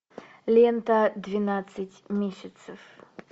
лента двенадцать месяцев